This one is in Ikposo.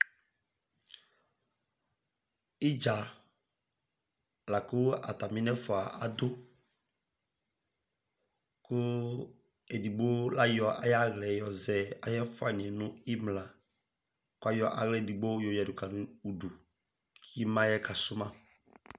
Idza laku ataminɛfua adu ku edigbo layɔ ayɔ aɣla yɔzɛ ayu ɛfuaniɛ nu imla ku kayɔ aɣla edigbo yɔɣafa nu udu ka su ma